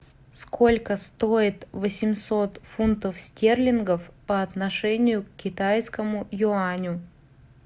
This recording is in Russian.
сколько стоит восемьсот фунтов стерлингов по отношению к китайскому юаню